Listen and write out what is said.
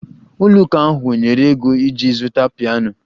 Ụlọ ụka ahụ nyere ego iji zụta piano